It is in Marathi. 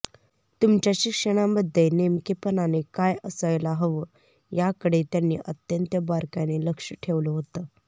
तुमच्या शिक्षणामध्ये नेमकेपणाने काय असायला हवं याकडे त्यांनी अत्यंत बारकाईने लक्ष ठेवलं होतं